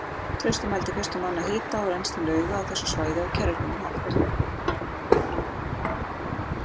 Trausti mældi fyrstur manna hita og rennsli lauga á þessu svæði á kerfisbundinn hátt.